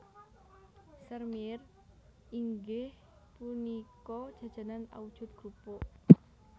Sèrmièr inggih punika jajanan awujud krupuk